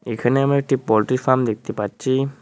এখানে আমি একটি পোল্ট্রি ফার্ম দেখতে পাচ্ছি।